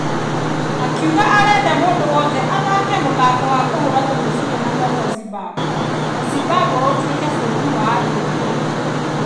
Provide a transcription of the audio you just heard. Akiuga arenda mũndũ wothe athake mũthako wa kũhũra tũmĩbira na moko Zimbabwe na Zimbabwe ũtuĩke bũrũri wa andũ mena kĩhoto.